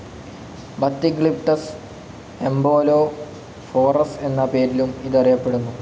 ബത്തിഗ്ലിപ്ടസ് എംബോലോഫോറസ് എന്ന പേരിലും ഇത് അറിയപ്പെ ടുന്നു.